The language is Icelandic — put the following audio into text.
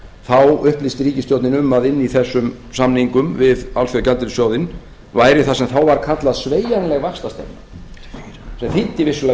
þá upplýsti ríkisstjórnin um að inni í þessum samningum við alþjóðagjaldeyrissjóðinn væri það sem þá var kallað sveigjanleg vaxtastefna sem þýddi vissulega að vextir gætu